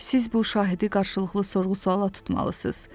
Siz bu şahidi qarşılıqlı sorğu-suala tutmalısınız.